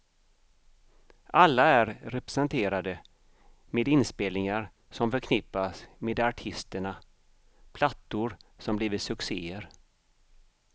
Alla är representerade med inspelningar som förknippas med artisterna, plattor som blivit succéer.